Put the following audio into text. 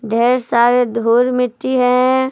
ढेर सारे धुर मिट्टी हैं।